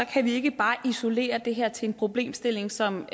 kan vi ikke bare isolere det her til en problemstilling som